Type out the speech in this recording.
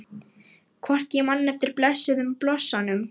Hvort ég man eftir blessuðum blossanum?